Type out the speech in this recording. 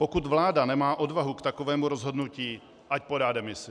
Pokud vláda nemá odvahu k takovému rozhodnutí, ať podá demisi.